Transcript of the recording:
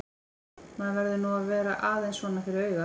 Maður verður nú að vera aðeins svona fyrir augað!